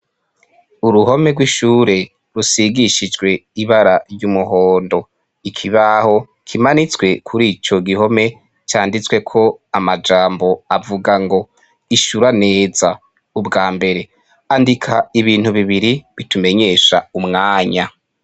Uruhome rw'ishuri rusigishijwe ibara ry'umuhondo ikibaho kimanitswe kurico gihome canditsweko amajambo avuga ngo ishura neza umbwambere andika ibintu bibiri bitumenyesha umwanya.